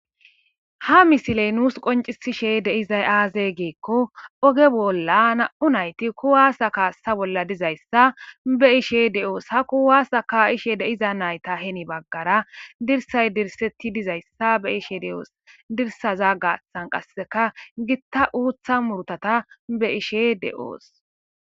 Ha misiley nuus qoncisishe deizay aaze geekko oge bolla na7u nayti kuwaasa kaassa bolla dizayssa be ishe de7oos ha ku waasa ka ishe deiza nayta heni baggara dirsay dirsetti dizayssa be ishe de7oos dirsaza gaaththan qasseka gitta uutha murtata be ishe de7oos.